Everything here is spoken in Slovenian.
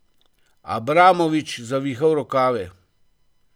Abramovič zavihal rokave!